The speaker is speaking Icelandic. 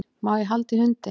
Má ég halda í hundinn?